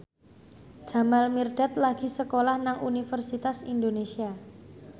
Jamal Mirdad lagi sekolah nang Universitas Indonesia